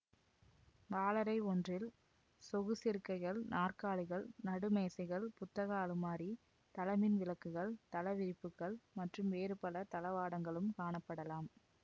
வாழறை ஒன்றில் சொகுசிருக்கைகள் நாற்காலிகள் நடு மேசைகள் புத்தக அலுமாரி தளமின்விளக்குகள் தளவிரிப்புக்கள் மற்றும் வேறு பல தளவாடங்களும் காணப்படலாம்